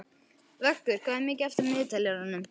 Vöggur, hvað er mikið eftir af niðurteljaranum?